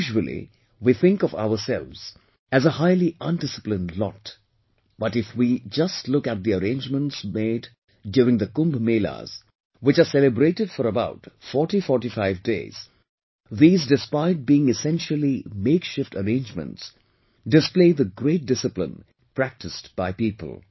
Usually, we think of ourselves as a highly undisciplined lot, but if we just look at the arrangements made during the Kumbh Melas, which are celebrated for about 4045 days, these despite being essentially makeshift arrangements, display the great discipline practised by people